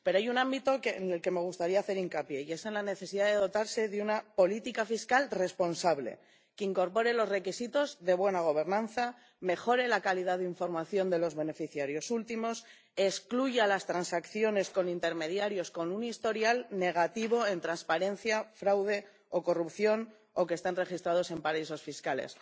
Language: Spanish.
Pero hay un ámbito en el que me gustaría hacer hincapié y es en la necesidad de dotarse de una política fiscal responsable, que incorpore los requisitos de buena gobernanza, mejore la calidad de información de los beneficiarios últimos y excluya las transacciones con intermediarios con un historial negativo en transparencia, fraude o corrupción o que estén registrados en paraísos fiscales.